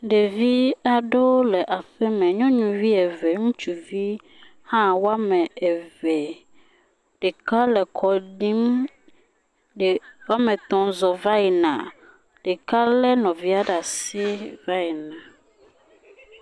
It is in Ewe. Ɖevi aɖewo le aƒeme. Nyɔnuvi eve ŋutsuvi hã wɔme eve. Ɖeka le kɔɖim ɖe wɔme etɔ̃ zɔ va yina ɖeka le nɔvia ɖe asi va yina.